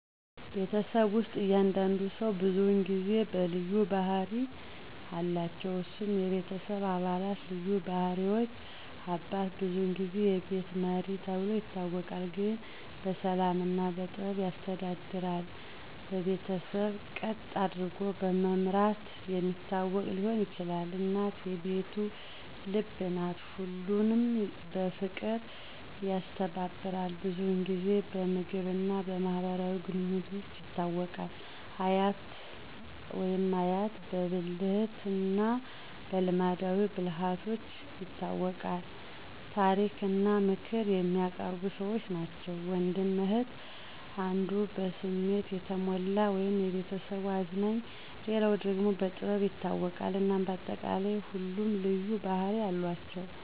ቤተሰብ ውስጥ እያንዳንዱ ሰው ብዙውን ጊዜ በልዩ ባህሪ አለቸው። እነሱም፦ የቤተሰብ አባላት ልዩ ባህሪዎች • አባት : ብዙውን ጊዜ "የቤቱ መሪ" ተብሎ ይታወቃል፤ ግን በሰላም እና በጥበብ ያስተዳድራል። በቤተሰብ ቀጥ አደርጎ በማምረት የሚታወቅ ሊሆን ይችላል። • እናት : "የቤቱ ልብ" ናት፤ ሁሉንም በፍቅር ያስተባብራል። ብዙውን ጊዜ በምግብ እና በማህበራዊ ግንኙነቶች ይታወቃል። • አያት/አያት : በብልህነት እና በልማዳዊ ብልሃቶች ይታወቃሉ፤ ታሪክ እና ምክር የሚያቀርቡ ሰዎች ናቸው። • ወንድም/እህት : አንዱ በስሜት የተሞላ (የቤተሰቡ አዝናኝ)፣ ሌላው ደግሞ በጥበብ ይታወቃል። እናም በአጠቃላይ ሁሉም ልዩ ባህርያት አሏቸው።